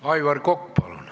Aivar Kokk, palun!